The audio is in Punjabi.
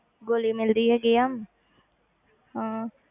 ਗੋਲੀ ਮਿਲਦੀ ਹੈਗੀ ਆ ਹਾਂ